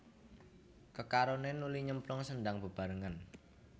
Kekaroné nuli nyemplung sendhang bebarengan